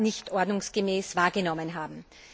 nicht ordnungsgemäß wahrgenommen haben.